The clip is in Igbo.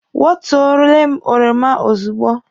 Wọtuole m oroma ozugbo!